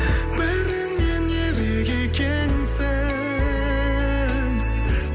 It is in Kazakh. бәрінен ерек екенсің